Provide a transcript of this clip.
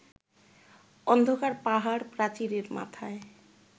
অন্ধকার পাহাড়-প্রাচীরের মাথায়